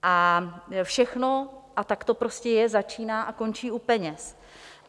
A všechno, a tak to prostě je, začíná a končí u peněz.